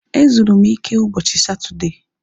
Ezuru m ike ụbọchị Satọdee